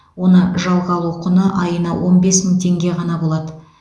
оны жалға алу құны айына он бес мың теңге ғана болады